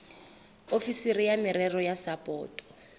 ofisiri ya merero ya sapoto